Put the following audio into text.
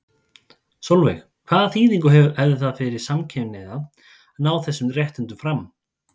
Sólveig: Hvaða þýðingu hefði það fyrir samkynhneigða að ná þessum réttindum fram?